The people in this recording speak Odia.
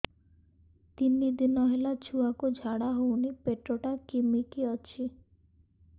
ତିନି ଦିନ ହେଲା ଛୁଆକୁ ଝାଡ଼ା ହଉନି ପେଟ ଟା କିମି କି ଅଛି